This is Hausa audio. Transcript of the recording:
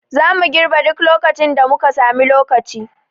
Zamu girbe duk lokacin da muka sami lokaci